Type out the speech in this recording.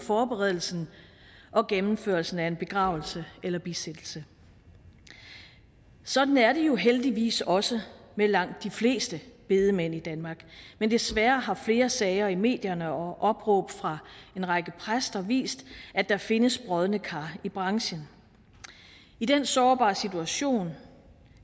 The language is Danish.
forberedelsen og gennemførelsen af en begravelse eller bisættelse sådan er det jo heldigvis også med langt de fleste bedemænd i danmark men desværre har flere sager i medierne og opråb fra en række præster vist at der findes brodne kar i branchen i den sårbare situation